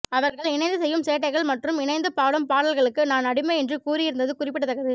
அவர்கள் இணைந்து செய்யும் சேட்டைகள் மற்றும் இணைந்து பாடும் பாடல்களுக்கு நான் அடிமை என்று கூறியிருந்தது குறிப்பிடத்தக்கது